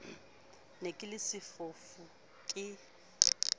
ne ke le sefofu ke